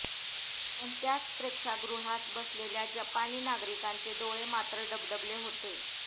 पण त्याच प्रेक्षागृहात बसलेल्या जपानी नागरिकांचे डोळे मात्र डबडबले होते